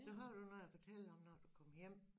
Så har du noget at fortælle om når du kommer hjem